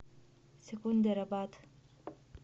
секундерабад